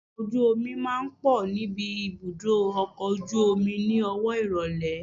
Ọkọ̀ ojú omi máa ń pọ̀ níbi ibùdó ọkọ̀ ojú omi ni owó ìrólé.